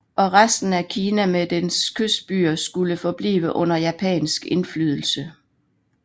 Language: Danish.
Og resten af Kina med dets kystbyer skulle forblive under japansk indflydelse